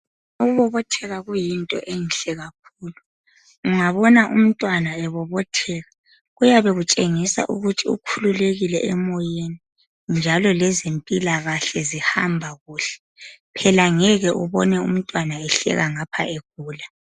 Ukubobotheka kuyinto enhle kakhulu, ungabona umntwana ebobotheka kuyabe kutshengisa ukuthi ukhululekile emoyeni njalo lezempilakahle zihamba kuhle, phela ngeke ubone umntwana ehleka ngapha egula